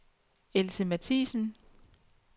Else Matthiesen